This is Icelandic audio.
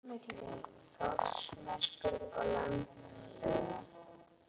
Leiðin liggur milli Þórsmerkur og Landmannalauga.